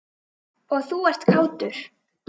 Og þú ert kátur.